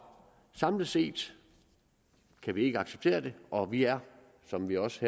samlet set kan vi ikke acceptere det og vi er som vi også